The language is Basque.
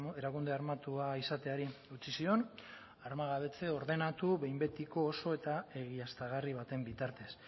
erakunde armatua izateari utzi zion armagabetze ordenatu behin betiko oso eta egiaztagarri baten bitartez